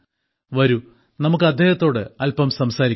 വരൂ നമുക്ക് അദ്ദേഹത്തോട് അല്പം സംസാരിക്കാം